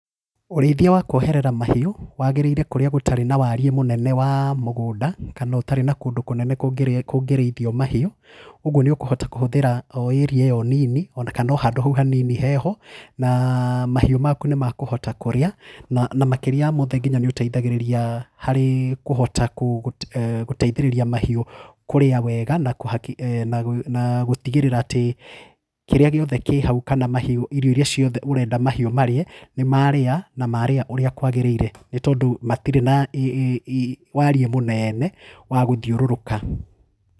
Ũrĩithia wa kuoherera mahiũ wagĩrĩire kũrĩa gũtarĩ na wariĩ mũnene wa mũgũnda kana ũtarĩ na kũndũ kũnene kũngĩrĩithio mahiũ ũguo nĩ ũkũhota kũhũthĩra o area ĩyo nini ona kana o handũ hau hanini heho na mahiũ maku nĩ makũhota kũrĩa na makĩria mothe nginya nĩ ũteithagĩrĩria harĩ kũhota gũteithĩrĩria mahiũ kũrĩa wega na gũtigĩrĩra atĩ kĩrĩa gĩothe kĩ hau kana mahiũ irio irĩa ciothe ũrenda mahiũ marĩe nĩ marĩa na marĩa ũrĩa kwagĩrĩire nĩ tondũ matire na warĩĩ mũnene wa gũthiũrũrũka.